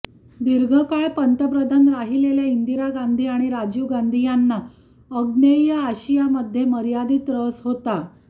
दीर्घकाळ पंतप्रधान राहिलेल्या इंदिरा गांधी आणि राजीव गांधी यांना आग्नेय आशियामध्ये मर्यादित रस होता